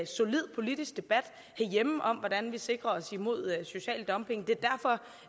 solid politisk debat herhjemme om hvordan vi sikrer os mod social dumping det